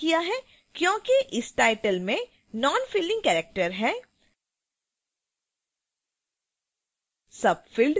मैंने 0 टाइप किया है क्योंकि इस title में nonfilling character है